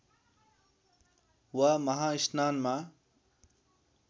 वा महास्नानमा